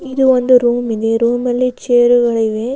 ಇದು ಒಂದು ರೂಮ್ ಇದೆ ರೂಮಲ್ಲಿ ಚೇರ್ಗಳಿವೆ .